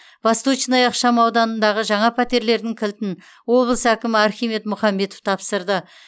восточная ықшамауданындағы жаңа пәтерлердің кілтін облыс әкімі архимед мұхамбетов тапсырды